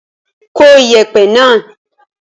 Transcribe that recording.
Kó ìyẹ̀pẹ̀ náà.